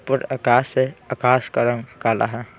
पर आकाश से आकाश का रंग काला हैं ।